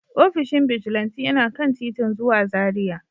Ofishin bijilanti yana kan titin zuwa Zaria.